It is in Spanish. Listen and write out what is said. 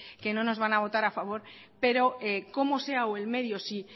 que no nos van a votar a favor pero cómo sea o el medio si